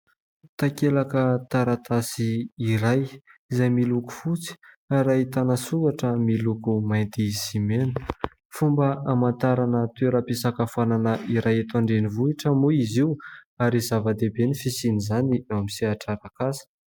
Takelaka taratasy iray izay miloko fotsy ary ahitana soratra miloko mainty sy mena. Fomba hamantarana toeram-pisakafoanana iray eto an-drenivohitra moa izy io ary zava-diabe ny fisiany izany eo amin'ny sehatra arak'asa.